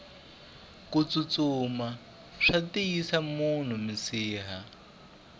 kutsutsuma swa tiyisa munhu minsiha